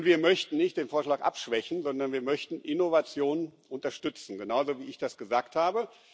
Und wir möchten nicht den Vorschlag abschwächen, sondern wir möchten Innovationen unterstützen genauso, wie ich das gesagt habe.